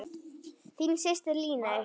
Þín systir, Líney.